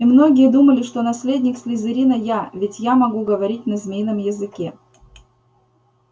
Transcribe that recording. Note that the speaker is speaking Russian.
и многие думали что наследник слизерина я ведь я могу говорить на змейном языке